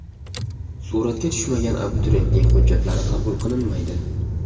Suratga tushmagan abituriyentning hujjatlari qabul qilinmaydi.